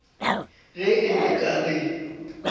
ge e le ka le